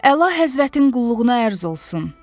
Əla həzvətin qulluğuna ərz olsun!